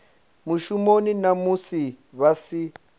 mushumoni na musi vha si